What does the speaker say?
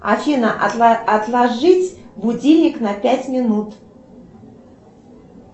афина отложить будильник на пять минут